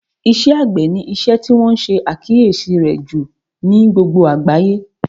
Iṣẹ́ àgbẹ̀ ni isẹ́ tí wọ́n ṣe àkíyèsí rẹ̀ jù ní gbogbo àgbáyé